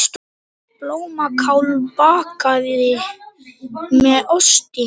Blómkál bakað með osti